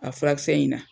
A furakisɛ in na